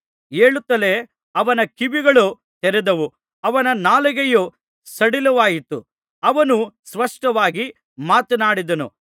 ಹೇಳುತ್ತಲೇ ಅವನ ಕಿವಿಗಳು ತೆರೆದವು ಅವನ ನಾಲಿಗೆಯು ಸಡಿಲವಾಯಿತು ಅವನು ಸ್ಪಷ್ಟವಾಗಿ ಮಾತನಾಡಿದನು